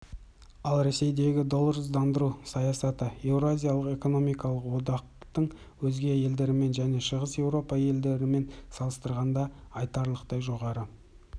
ал ресейдегі долларсыздандыру саясаты еуразиялық экономикалық одақтың өзге елдерімен және шығыс еуропа елдерімен салыстырғанда айтарлықтай жоғары